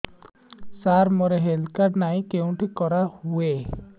ସାର ମୋର health card ନାହିଁ କେଉଁଠି କରା ହୁଏ